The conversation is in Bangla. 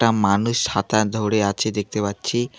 একটা মানুষ ছাতা ধরে আছে দেখতে পাচ্ছি।